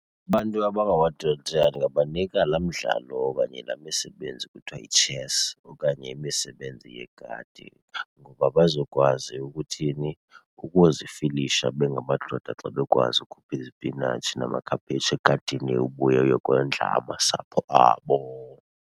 Abantu abangamadoda ndingabanika laa mdlalo okanye laa misebenzi kuthiwa yitshesi okanye imisebenzi yegadi. Ngoba bazokwazi ukuthini? Ukuzifilisha bengamadoda xa bekwazi ukhupha izipinatshi namakhaphetshu egadini ubuye uyokondla amasapho abo.